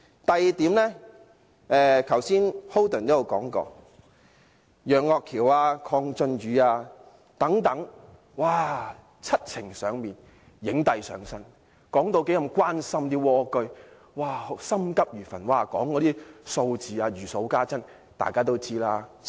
第二點，剛才周浩鼎議員也說過，楊岳橋議員、鄺俊宇議員等人七情上面，影帝上身，說十分關心蝸居戶，心急如焚，讀出數字時好像如數家珍。